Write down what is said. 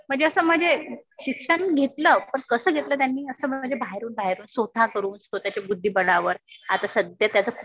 म्हणजे असं म्हणजे शिक्षण घेतलं. पण कसं घेतलं त्यांनी. असा म्हणजे बाहेरून बाहेरून स्वतः करून, स्वतःच्या बुद्धिबळावर. आता सध्या त्याच खूप